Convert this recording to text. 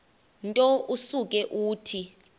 nto usuke uthi